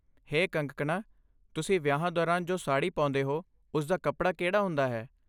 ਹੇ ਕੰਗਕਣਾ, ਤੁਸੀਂ ਵਿਆਹਾਂ ਦੌਰਾਨ ਜੋ ਸਾੜੀ ਪਾਉਂਦੇ ਹੋ ਉਸਦਾ ਕੱਪੜਾ ਕਿਹੜਾ ਹੁੰਦਾ ਹੈ?